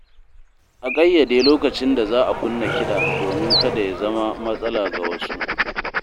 A ƙayyade lokacin da za a kunna kiɗa domin kada ya zama matsala ga wasu.